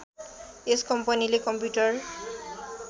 यस कम्पनीले कम्प्युटर